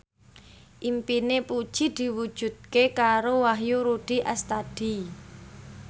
impine Puji diwujudke karo Wahyu Rudi Astadi